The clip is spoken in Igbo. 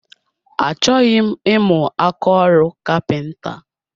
Achọghị m imu ákáọrụ kapinta